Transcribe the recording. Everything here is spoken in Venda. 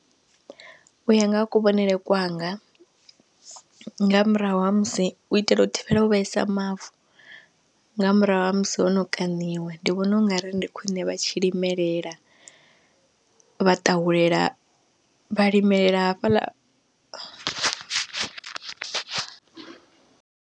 U ya nga ha kuvhonele kwanga nga murahu ha musi, u itela u thivhela u vhaisa mavu nga murahu ha musi hono kaṋiwa ndi vhonaungari ndi khwiṋe vha tshi limelela vha ṱahulela, vha limela hafhaḽa.